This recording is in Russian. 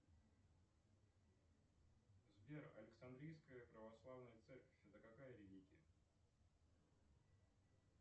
сбер александрийская православная церковь это какая религия